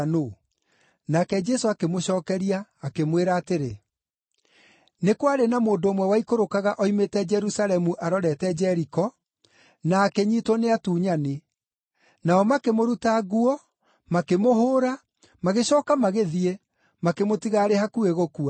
Nake Jesũ akĩmũcookeria, akĩmwĩra atĩrĩ, “Nĩ kwarĩ na mũndũ ũmwe waikũrũkaga oimĩte Jerusalemu arorete Jeriko, na akĩnyiitwo nĩ atunyani. Nao makĩmũruta nguo, makĩmũhũũra, magĩcooka magĩthiĩ, makĩmũtiga arĩ hakuhĩ gũkua.